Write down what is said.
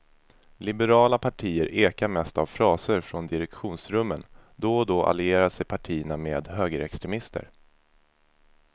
Liberala partier ekar mest av fraser från direktionsrummen, då och då allierar sig partierna med högerextremister.